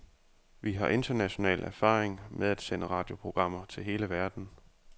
Vi har international erfaring med at sende radioprogrammer til hele verden.